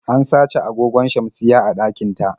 An sace agogon shamsiyya a ɗakin ta.